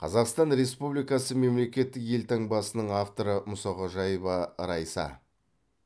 қазақстан республикасы мемлекеттік елтаңбасының авторы мұсақожаева райса